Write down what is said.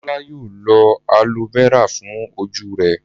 Bọ́lá yóò lo aloe vera fún ojú rẹ̀.